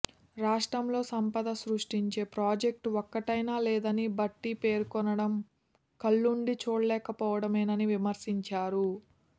రాష్ట్రంలో సంపద సృష్టించే ప్రాజెక్టు ఒక్కటైనా లేదని భట్టి పేర్కొనడం కళ్లుండీ చూడలేకపోవటమేనని విమర్శించారు